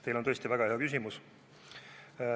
Teil on tõesti väga hea küsimus.